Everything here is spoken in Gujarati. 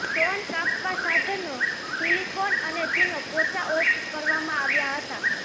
સ્ટોન કાપવા સાધનો સીલીકોન અને ચૂનો પોચા ઓફ કરવામાં આવ્યા હતા